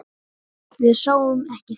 Við sáum ekki þetta!